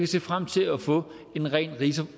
se frem til at få en ren